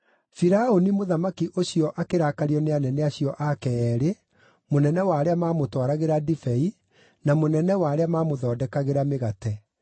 Firaũni mũthamaki ũcio akĩrakario nĩ anene acio ake eerĩ, mũnene wa arĩa maamũtwaragĩra ndibei na mũnene wa arĩa maamũthondekagĩra mĩgate,